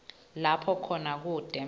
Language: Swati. lapho khona kute